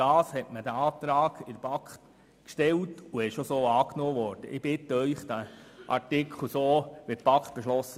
Deshalb wurde dieser Antrag in der Kommission so gestellt, und er wurde auch angenommen.